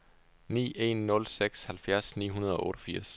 ni en nul seks halvfjerds ni hundrede og otteogfirs